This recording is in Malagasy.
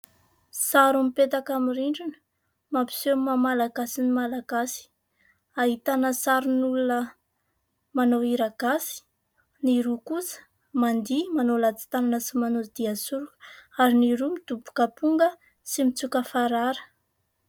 Sary mipetaka amin'ny rindrina mampiseho ny maha malagasy ny malagasy. Ahitana sarin'olona manao hira gasy, ny roa kosa mandihy manao latsitanana sy manao dihy soroka ary ny roa midombok'aponga sy mitsoka farara.